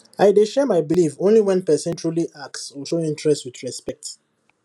i dey share my belief only when person truly ask or show interest with respect